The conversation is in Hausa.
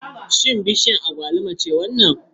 Shin bishiyar agwaluma ce wannan?